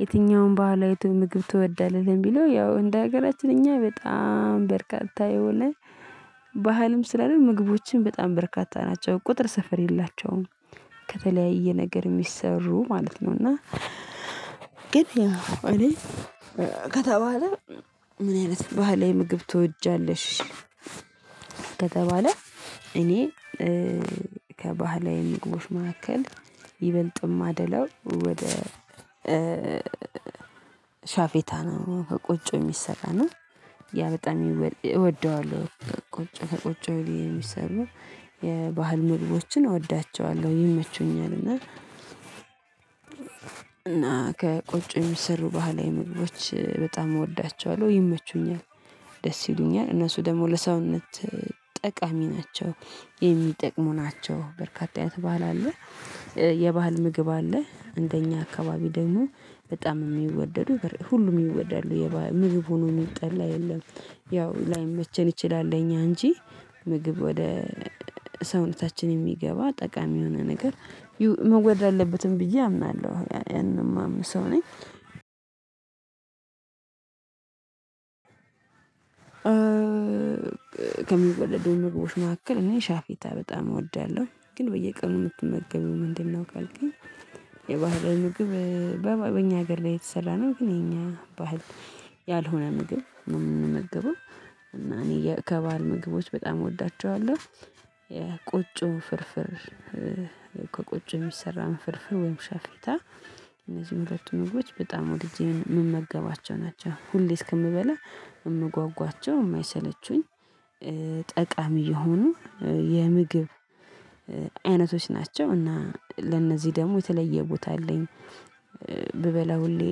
የትኛውም ባህላዊ ምግብ ትወዳለህ? ለሚለው ያው እንደ ሀገራችን እኛ በጣም በርካታ የሆነ ባህልም ስላልን ምግቦችን በጣም በርካታ ናቸው ቁጥር ስፈር የላቸውም ከተለያየ ነገር የሚሰሩ ማለት ነው እና ግን ያው እኔ ከተባለ ምን አይነት ባህላዊ ምግብ ትወጃለሽ? ከተባለ እኔ ከባህላዊ ምግቦች መካከል ይበልጥ እማደለው ወደ ሻፌታ ነው ከቆጮ የሚሰራ ነው ያ በጣም እወደዋለሁ ቆጮ ከቆጮ የሚሰሩ የባህል ምግቦችን እወዳቸዋለሁ ይመቹኛል እና እና ከቆጮ የሚሰሩ ባህላዊ ምግቦች በጣም እወዳቸዋለሁ ይመቹኛል ደስ ይሉኛል እነሱ ደግሞ ለሰውነት ጠቃሚ ናቸው የሚጠቅሙ ናቸው በርካታ የት ባህል አለ የባህል ምግብ አለ እንደኛ አካባቢ ደግሞ በጣም የሚወደዱ ሁሉም ይወደዳሉ የምግብ ሆኖ የሚጠላ የለም ያው ላይመቸን ይችላል እኛ እንጂ ምግብ ወደ ሰውነታችን የሚገባ ጠቃሚ የሆነ ነገር መወደድ አለበትም ብዬ አምናለሁ ያንን የማምነው ሰው ነኝ ከሚወደዱ ምግቦች መካከል እኔ ሻፌታ በጣም እወዳለሁ ግን በየቀኑ እንድትመገቢው ምንድነው ካልከኝ የባህላዊ ምግብ በእኛ ሀገር ላይ የተሰላነ ግን የኛ ባህል ያልሆነ ምግብ የምንመግበው እና እኔ የከባድ ምግቦች በጣም እወዳቸዋለሁ የቁጭው ፍርፍር ከቁጭው የሚሰራ አንፈልፍ ወይም ሸፌታ እነዚህን ሁለቱን ምግቦች በጣም ወድጄ የምመገባቸው ናቸው ሁሌ እስክንበላ የምጓጓቸው የማይሰለቹኝ ጠቃሚ የሆኑ የምግብ አይነቶች ናቸው እና ለእነዚህ ደግሞ የተለየ ቦታ አለኝ ብበላ ሁሌ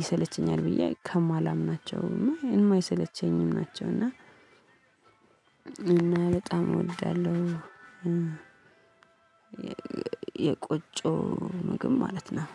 ይሰለቸኛል ብዬ ከማላምናቸው እና እማይሰለቸኝም ናቸው እና በጣም እወዳለሁ የቆጮ ምግብ ማለት ነው